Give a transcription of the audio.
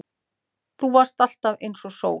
Þú varst alltaf einsog sól.